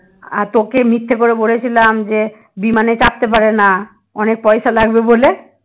আর তোকে মিথ্যা করে বলেছিলাম যে বিমানে চাপতে পারে না অনেক পয়সা লাগবে বলে